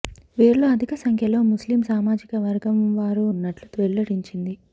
వీరిలో అధిక సంఖ్యలో ముస్లిం సామాజిక వర్గం వారు ఉన్నట్లు వెల్లడించింది